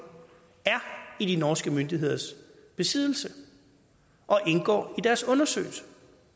er i de norske myndigheders besiddelse og indgår i deres undersøgelse